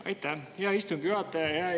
Aitäh, hea istungi juhataja!